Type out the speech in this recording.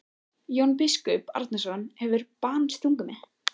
Jón biskup Arason hefur bannsungið mig.